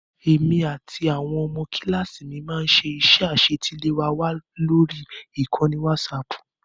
Èmi àti àwọn ọmọ kíláàsì mi máá ń ṣe iṣẹ́ àṣetiléwá wa lórí ìkànnì wásaaàpù